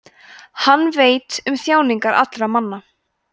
hann veit um þjáningar allra manna